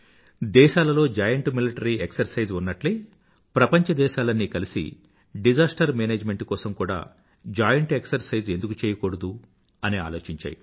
దేశాలలో joint military exercise ఉన్నట్లే ప్రపంచదేశాలన్నీ కలిసి డిసాస్టర్ మేనేజ్మెంట్ కోసం కూడా జాయింట్ ఎక్సర్సైజ్ ఎందుకు చెయ్యకూడదు అని ఆలోచించాయి